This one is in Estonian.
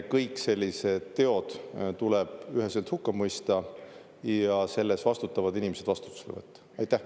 Kõik sellised teod tuleb üheselt hukka mõista ja selle eest vastutavad inimesed vastutusele võtta.